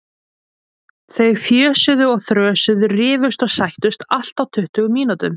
Þau fjösuðu og þrösuðu, rifust og sættust, allt á tuttugu mínútum.